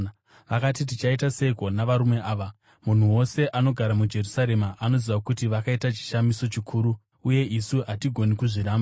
Vakati, “Tichaita seiko navarume ava? Munhu wose anogara muJerusarema anoziva kuti vakaita chishamiso chikuru uye isu hatigoni kuzviramba.